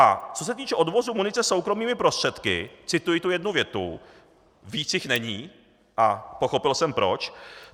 A co se týče odvozu munice soukromými prostředky, cituji tu jednu větu, víc jich není a pochopil jsem proč.